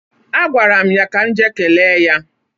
A gwara m ya ka m jee kelee ya.